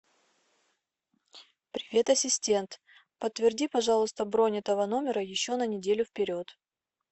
привет ассистент подтверди пожалуйста бронь этого номера еще на неделю вперед